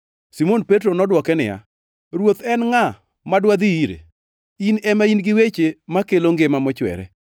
Simon Petro nodwoke niya, “Ruoth, en ngʼa madwadhi ire? In ema in gi weche makelo ngima mochwere.